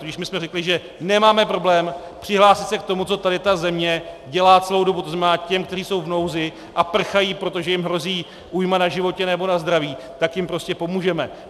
Když my jsme řekli, že nemáme problém přihlásit se k tomu, co tady ta země dělá celou dobu, to znamená těm, kteří jsou v nouzi a prchají, protože jim hrozí újma na životě nebo na zdraví, tak jim prostě pomůžeme.